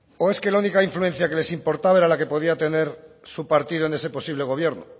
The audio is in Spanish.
o es que la única influencia que les importaba era la que podía tener su partido en ese posible gobierno